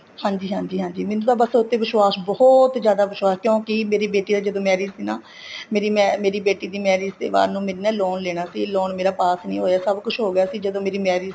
ਹਾਂਜੀ ਹਾਂਜੀ ਹਾਂਜੀ ਮੈਨੂੰ ਤਾਂ ਬੱਸ ਉਹ ਤੇ ਵਿਸ਼ਵਾਸ ਬਹੁਤ ਜਿਆਦਾ ਵਿਸ਼ਵਾਸ ਕਿਉਂਕਿ ਮੇਰੀ ਬੇਟੀ ਦੀ ਜਦੋਂ marriage ਸੀ ਨਾ ਮੇਰੀ ਬੇਟੀ ਦੀ marriage ਤੇ ਬਾਅਦ ਤੇ ਮੈਨੂੰ ਨਾ loan ਲੈਣਾ ਸੀ loan ਮੇਰਾ pass ਨਹੀਂ ਹੋਇਆ ਸਭ ਕੁੱਛ ਹੋ ਗਿਆ ਜਦੋਂ ਮੇਰੀ marriage ਸੀ